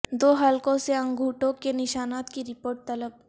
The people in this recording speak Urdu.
دو حلقوں سے انگوٹھوں کے نشانات کی رپورٹ طلب